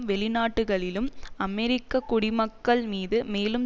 வெளிநாடுகளிலும் அமெரிக்க குடிமக்கள் மீது மேலும்